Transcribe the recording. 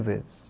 vezes.